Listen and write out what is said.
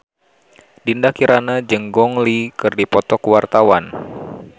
Dinda Kirana jeung Gong Li keur dipoto ku wartawan